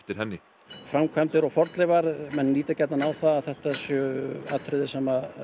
henni framkvæmdir og fornleifar menn líta gjarnan á það að þetta séu atriði sem